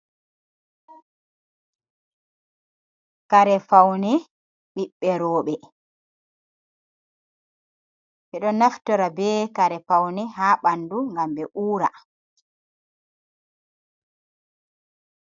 Karefaune ɓiɓberoɓe ,bedo naftora be kare faune ha bandu gam be ura.